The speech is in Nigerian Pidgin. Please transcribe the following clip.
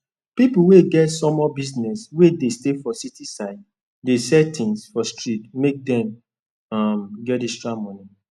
ppipu wey get sumol business wey dey stay for city side dey sell tins for street make dem um for get extra money